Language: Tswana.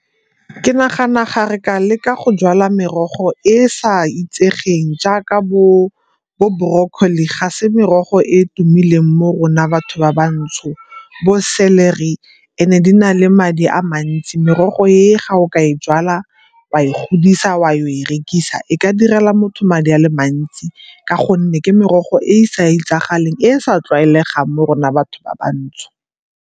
Ke nagana ga re ka leka go jala merogo e e sa itsegeng jaaka bo brocolli ga se merogo e e tumileng mo rona batho ba ba ntsho, bo celery and-e di na le madi a mantsi. Merogo e ga o ka e jwala, wa e godisa, wa ya go e rekisa e ka direla motho madi a le mantsi ka gonne ke merogo e e sa itsagaleng, e e sa tlwaelegang mo rona batho ba ba ntsho.